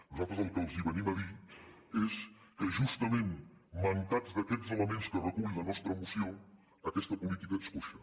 nosaltres el que els venim a dir és que justament mancats d’aquests elements que recull la nostra moció aquesta política és coixa